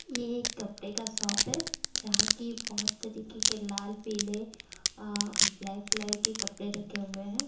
ये एक कपड़े का शॉप है जहाँ की बहुत तरीके के लाल पीले अ ब्लैक कलर के कपड़े रखे हुए हैं।